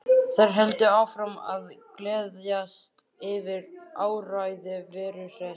Þær héldu áfram að gleðjast yfir áræði Veru Hress.